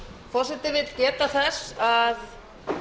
forseti vill geta þess að